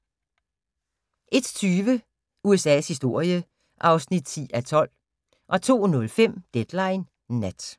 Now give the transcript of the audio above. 01:20: USA's historie (10:12) 02:05: Deadline Nat